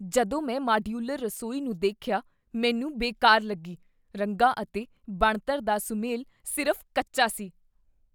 ਜਦੋਂ ਮੈਂ ਮਾਡਿਊਲਰ ਰਸੋਈ ਨੂੰ ਦੇਖਿਆ, ਮੈਨੂੰ ਬੇਕਾਰ ਲੱਗੀ , ਰੰਗਾਂ ਅਤੇ ਬਣਤਰ ਦਾ ਸੁਮੇਲ ਸਿਰਫ਼ ਕੱਚਾ ਸੀ।